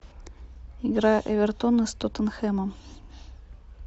игра эвертона с тоттенхэмом